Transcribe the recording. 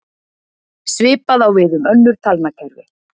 Svipað á við um önnur talnakerfi.